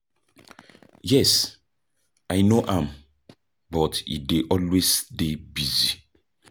yes, i know am, but e dey always dey busy.